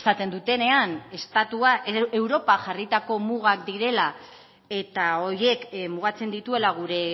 esaten dutenean estatua europa jarritako mugak direla eta horiek mugatzen dituela gure